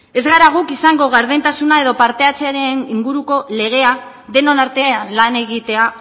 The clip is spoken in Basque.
ez gara guk izango gardentasuna edo partehartzearen inguruko legea denon artean lan egitea